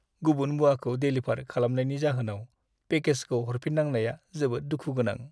गुबुन मुवाखौ डेलिभार खालामनायनि जाहोनाव पेकेजखौ हरफिननांनाया जोबोद दुखु गोनां।